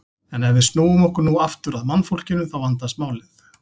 En ef við snúum okkur nú aftur að mannfólkinu þá vandast málið.